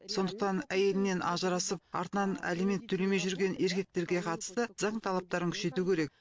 сондықтан әйелінен ажырасып артынан алимент төлемей жүрген еркектерге қатысты заң талаптарын күшейту керек